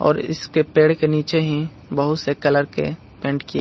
और इसके पेड़ के नीचे ही बहुत से कलर के पेंट किए --